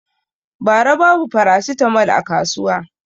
Ba ra babu farasitamol a kasuwa